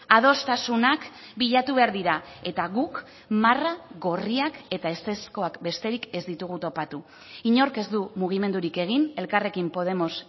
adostasunak bilatu behar dira eta guk marra gorriak eta ezezkoak besterik ez ditugu topatu inork ez du mugimendurik egin elkarrekin podemos